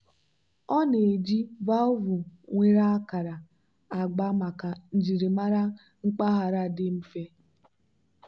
ọ na-eji valvụ nwere akara agba maka njirimara mpaghara dị mfe.